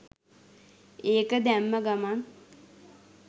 ඒක දැම්ම ගමං